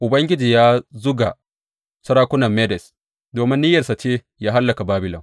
Ubangiji ya zuga sarakunan Medes, domin niyyarsa ce yă hallaka Babilon.